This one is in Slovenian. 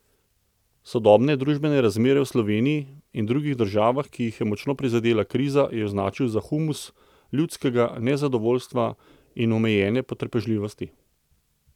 Sodobne družbene razmere v Sloveniji in drugih državah, ki jih je močno prizadela kriza, je označil za humus ljudskega nezadovoljstva in omejene potrpežljivosti.